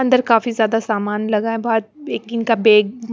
अंदर काफी ज्यादा सामान लगा हैबहोत एक बेग --